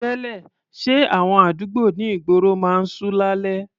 Tẹ́lẹ̀, ṣé àwọn àdúgbò ní ìgboro máa ń ṣú lálẹ́?